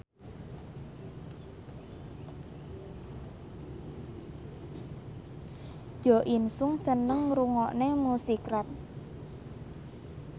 Jo In Sung seneng ngrungokne musik rap